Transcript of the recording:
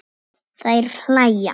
Þær hlæja.